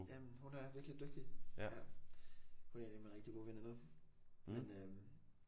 Jamen hun er virkelig dygtig ja hun er en af mine rigtig gode veninder men øh